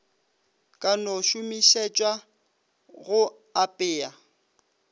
ka no šomišetšwa go apea